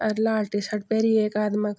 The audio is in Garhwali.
अर लाल टी शर्ट पैरी एक आदिमक्।